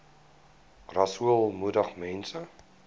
rasool moedig mense